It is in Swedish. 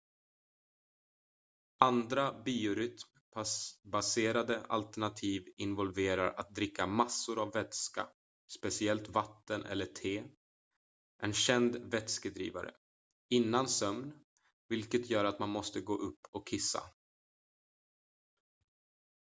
andra biorytm-baserade alternativ involverar att dricka massor av vätska speciellt vatten eller te en känd vätskedrivare innan sömn vilket gör att man måste gå upp och kissa